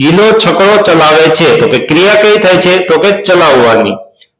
ગિલો છકડો ચલાવે છે તો ક્રિયા કઈ થાય છે કે તો ચલાવાની